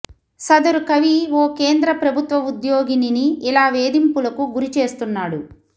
సదరు కవి ఓ కేంద్ర ప్రభుత్వ ఉద్యోగినిని ఇలా వేధింపులకు గురి చేస్తున్నాడు